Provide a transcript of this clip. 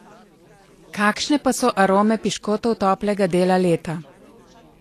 Kakšne pa so arome piškotov toplega dela leta?